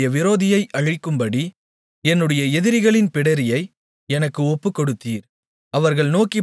நான் என்னுடைய விரோதியை அழிக்கும்படி என்னுடைய எதிரிகளின் பிடரியை எனக்கு ஒப்புக்கொடுத்தீர்